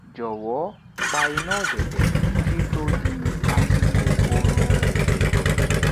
jọwọ pa iná òdẹdẹ ki to di àsìkò orun